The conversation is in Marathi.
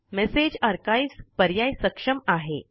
मेसेज आर्काइव्ह्ज पर्याय सक्षम आहे